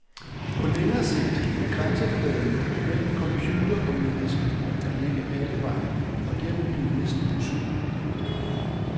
På længere sigt vil grænsefladen mellem computer og menneske ligge alle vegne og dermed blive næsten usynlig.